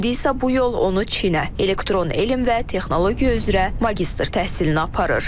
İndi isə bu yol onu Çinə, elektron elm və texnologiya üzrə magistr təhsilini aparır.